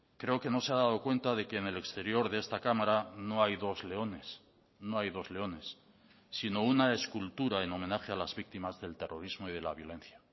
creo que no se ha dado cuenta de que en el exterior de esta cámara no hay dos leones no hay dos leones sino una escultura en homenaje a las víctimas del terrorismo y de la violencia